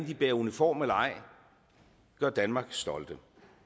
de bærer uniform eller ej i gør danmark stolt